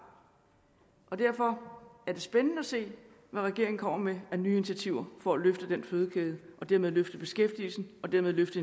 og derfor er det spændende at se hvad regeringen kommer med af nye initiativer for at løfte den fødekæde og dermed løfte beskæftigelsen og dermed løfte